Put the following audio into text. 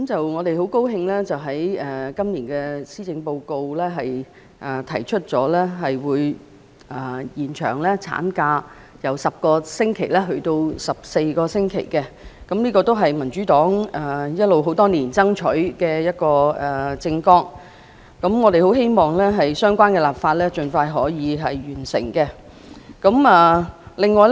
我們很高興在今年的施政報告中看到政府提議把法定產假由10星期增至14星期，這亦是民主黨多年以來爭取的政策，我們希望可以盡快完成相關的立法工作。